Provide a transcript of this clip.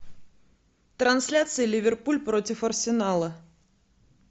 трансляция ливерпуль против арсенала